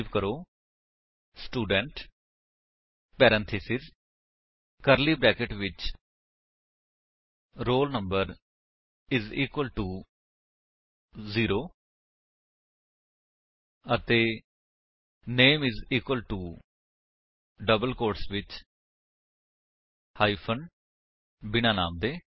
type ਕਰੋ student parenthesis curly brackets ਵਿੱਚ roll number is equal to 0 ਅਤੇ name is equal to double quotes ਵਿੱਚ hyphen ਬਿਨਾਂ ਨਾਮ ਦੇ